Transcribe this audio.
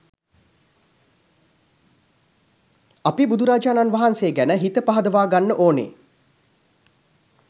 අපි බුදුරජාණන් වහන්සේ ගැන හිත පහදවාගන්න ඕන